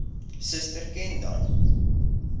suster ken dan